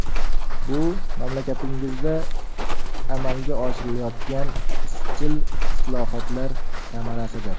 Bu mamlakatingizda amalga oshirilayotgan izchil islohotlar samarasidir.